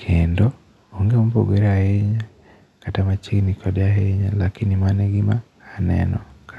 Kendo, onge mopogore ahinya, kata machiegni kode ahinya, lakini mano e gima aneno kae.